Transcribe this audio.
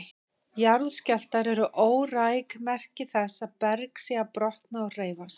Jarðskjálftar eru óræk merki þess að berg sé að brotna og hreyfast.